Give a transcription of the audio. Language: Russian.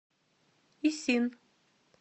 исин